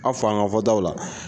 A fɔ an ka fɔtw la